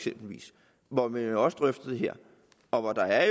hvor man også drøfter det her og hvor der er